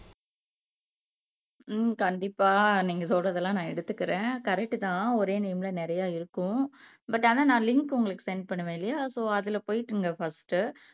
உம் கண்டிப்பா நீங்க சொல்றதெல்லாம் நான் எடுத்துக்கிறேன் கரெக்ட்தான் ஒரே நேம்ல நிறைய இருக்கும் பட் ஆனா நான் லிங்க் உங்களுக்கு சென்ட் பண்ணுவேன் இல்லையா சோ அதுல போயிட்டுங்க பர்ஸ்ட்